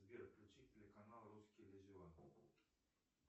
сбер включи телеканал русский иллюзион